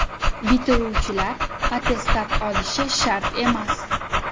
Bitiruvchilar attestat olishi shart emas .